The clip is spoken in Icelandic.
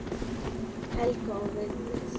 Helga og Vigdís.